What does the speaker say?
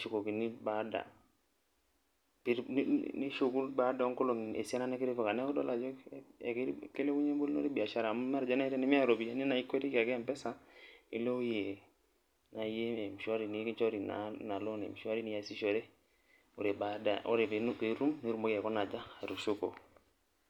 [csM baada nishuku baada onkolongi esiana nitipita neaku idol ajo kilepunye biashara amu tenimiata ropiyani na ikwetiki ake empesa nilobewoi e mshwari nikinchori nona pisai niasishore ore pitum nitomoki aikuna aja atushuko.